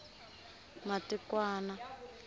matikwani